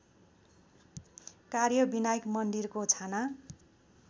कार्यविनायक मन्दिरको छाना